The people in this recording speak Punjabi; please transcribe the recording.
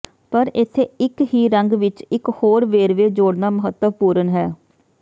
ਪਰ ਇੱਥੇ ਇੱਕ ਹੀ ਰੰਗ ਵਿੱਚ ਇੱਕ ਹੋਰ ਵੇਰਵੇ ਜੋੜਨਾ ਮਹੱਤਵਪੂਰਨ ਹੈ